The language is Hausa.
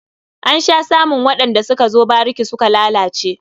An sha samun waɗanda suka zo bariki suka lalace.